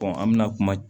an bɛna kuma